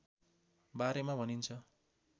बारेमा भनिन्छ